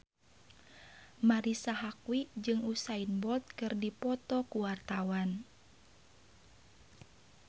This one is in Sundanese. Marisa Haque jeung Usain Bolt keur dipoto ku wartawan